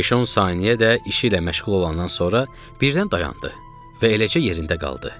Beş-on saniyə də işi ilə məşğul olandan sonra birdən dayandı və eləcə yerində qaldı.